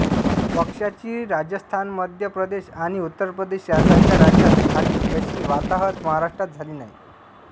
पक्षाची राजस्थानमध्य प्रदेश आणि उत्तर प्रदेश यासारख्या राज्यांत झाली तशी वाताहत महाराष्ट्रात झाली नाही